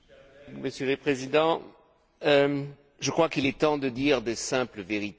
Monsieur le Président, je crois qu'il est temps de dire de simples vérités.